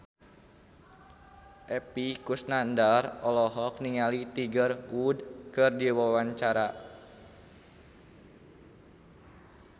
Epy Kusnandar olohok ningali Tiger Wood keur diwawancara